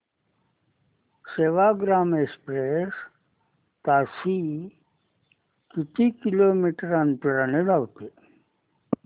Sevagram express ताशी किती kilometre अंतराने धावते